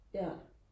ja